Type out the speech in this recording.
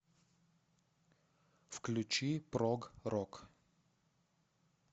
включи прог рок